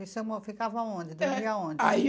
E o senhor mo, ficava onde, dormia onde? É, aí